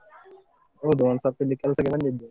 ಹೌದು, ಒಂದ್ ಸ್ವಲ್ಪ ಇಲ್ಲಿ ಕೆಲಸಗಳಲ್ಲಿ ಇದ್ದೆ.